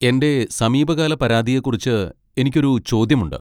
എന്റെ സമീപകാല പരാതിയെക്കുറിച്ച് എനിക്ക് ഒരു ചോദ്യമുണ്ട്.